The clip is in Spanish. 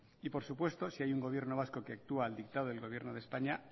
y por supuesto si hay un gobierno vasco que actúa al dictado del gobierno de españa